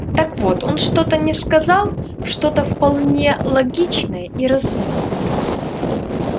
так вот он что-то не сказал что-то вполне логичное и разумное